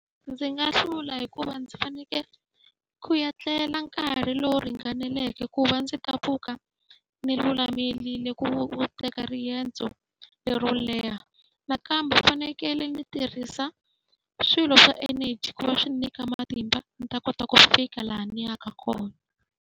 Ndzi nga hlula hikuva ndzi fanekele ku ya tlela nkarhi lowu ringaneleke ku va ndzi ta pfuka ni lulamerile ku ku teka riendzo lero leha. Nakambe ni fanekele ndzi tirhisa swilo swa energy ku va swi nyika matimba ndzi ta kota ku fika laha ni yaka kona.